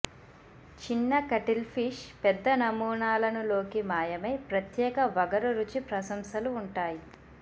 చిన్న కటిల్ఫిష్ పెద్ద నమూనాలను లోకి మాయమై ప్రత్యేక వగరు రుచి ప్రశంసలు ఉంటాయి